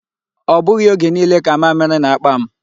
Ọ bụghị oge niile ka mamịrị na-akpa m.